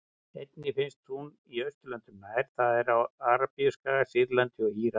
Einnig finnst hún í Austurlöndum nær, það er á Arabíuskaga, Sýrlandi og Írak.